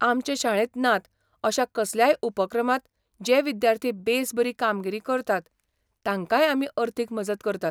आमचे शाळेंत नात अशा कसल्याय उपक्रमांत जे विद्यार्थी बेस बरी कामगिरी करतात तांकांय आमी अर्थीक मजत करतात.